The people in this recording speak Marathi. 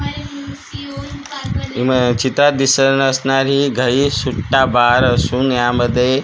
उम्म चित्रात दिसत असणारी घा ई सुट्टा बार असून यामध्ये आह--